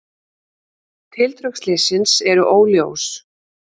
Tildrög slyssins eru óljós.